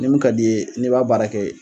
Ni mun ka d'i ye n'i b'a baara kɛ.